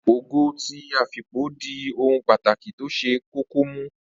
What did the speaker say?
Ogo ti afipo di ohun pàtàkì tó ṣe kókó mú